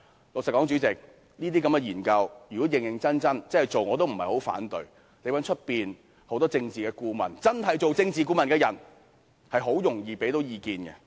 老實說，主席，這些研究如果認認真真地做，我亦不太反對，因為外間確實有許多真正的政治顧問能提供意見。